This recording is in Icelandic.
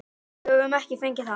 Við höfum ekki fengið það.